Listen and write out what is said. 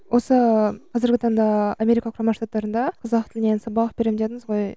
осы қазіргі таңда америка құрама штаттарында қазақ тілінен сабақ беремін дедіңіз ғой